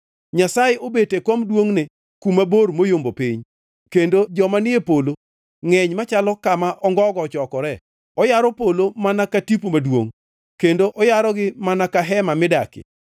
Nyasaye obet e kom duongʼne kuma bor moyombo piny kendo joma ni e polo ngʼeny machalo kama ongogo ochokoree. Oyaro polo mana ka tipo maduongʼ kendo oyarogi mana ka hema midakie.